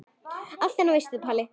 Allt annað veist þú Pétur.